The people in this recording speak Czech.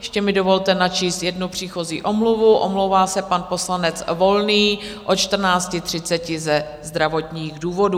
Ještě mi dovolte načíst jednu příchozí omluvu: omlouvá se pan poslanec Volný od 14.30 ze zdravotních důvodů.